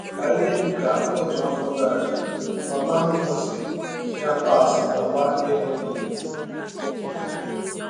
Ka ihe dị ka ọtụ afọ gara, mama m si Chiapas bịakwa ịhụ m.